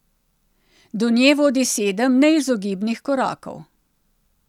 Do nje vodi sedem neizogibnih korakov.